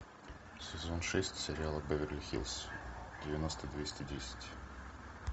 сезон шесть сериала беверли хиллз девяносто двести десять